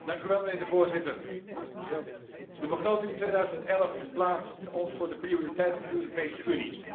Mijnheer de Voorzitter, de begroting 2011 plaatst ons voor de prioriteiten van de Europese Unie.